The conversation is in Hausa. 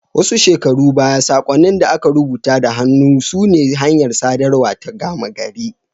Wasu shekaru baya, saƙonnin da aka rubuta da hannu sune hanyar sadarwa ta gama gari.